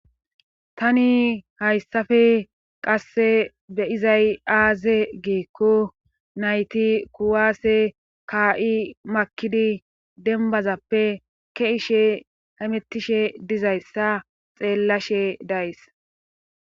tani hayssafe qasse beyizay aaze geekko nayti kuwaase kaa7i makidi denbazappe ke'ishe hamettishe dizayssa xeellashe days